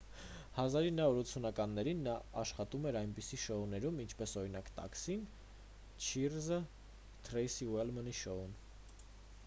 1980-ականներին նա աշխատում էր այնպիսի շոուներում ինչպես օրինակ տաքսին չիըրզը և թրեյսի ուլմենի շոուն